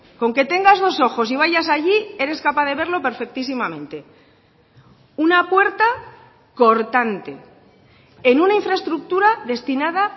con que tengas dos ojos y vayas allí eres capaz de verlo perfectísimamente una puerta cortante en una infraestructura destinada